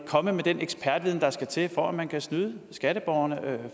komme med den ekspertviden der skal til for at man kan snyde skatteborgerne